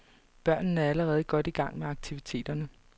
Børnene er allerede godt i gang med aktiviteterne.